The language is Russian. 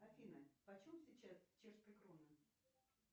афина по чем сейчас чешская крона